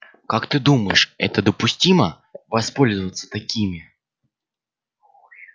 как ты думаешь это допустимо воспользоваться такими